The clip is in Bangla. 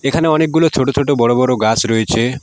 এখানে অনেকগুলো ছোট ছোট বড়ো বড়ো গাছ রয়েছে।